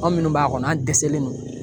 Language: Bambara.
Anw minnu b'a kɔnɔ an dɛsɛlen don